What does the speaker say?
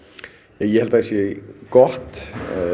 já ég held að það sé gott